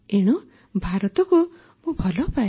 ଏଣୁ ଭାରତକୁ ମୁଁ ଭଲପାଏ